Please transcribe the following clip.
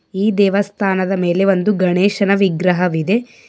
ಈ ದೇವಸ್ಥಾನದ ಮೇಲೆ ಒಂದು ಗಣೇಶನ ವಿಗ್ರಹವಿದೆ.